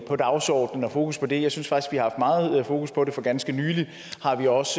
på dagsordenen og fokus på det jeg synes har haft meget fokus på det for ganske nylig har vi også